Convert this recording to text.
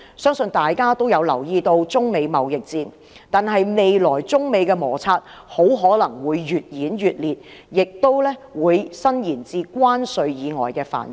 相信大家都有留意中美貿易戰的消息，未來中美摩擦很可能會越演越烈，亦會延伸至關稅以外的範疇。